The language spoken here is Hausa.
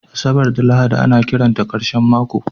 Asabar da Lahadi ana kiranta ƙarshen mako